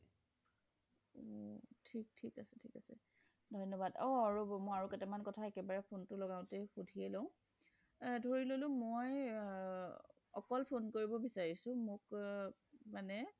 ঠিক ঠিক আছে ঠিক আছে অ ৰৱ মই আৰু কেইটামান কথা phone টো লগাও তে সুধিয়ে লও ধৰি ললো মই অকল phone কৰিব বিচাৰিছোঁ মানে মোক মানে